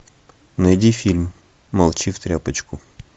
найди фильм молчи в тряпочку